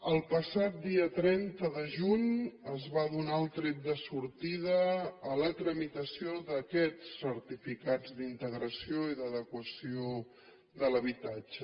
el passat dia trenta de juny es va donar el tret de sortida a la tramitació d’aquests certificats d’integració i d’adequació de l’habitatge